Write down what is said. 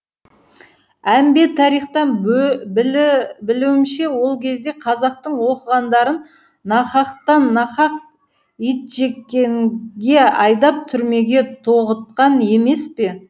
әмбе тарихтан білуімше ол кезде қазақтың оқығандарын нақақтан нақақ итжеккенге айдап түрмеге тоғытқан емес пе